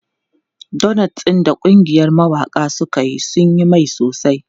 Donots ɗin da ƙungiyar mawaƙa suka yi sun yi mai sosai.